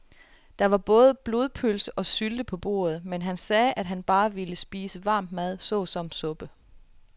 Der var både blodpølse og sylte på bordet, men han sagde, at han bare ville spise varm mad såsom suppe.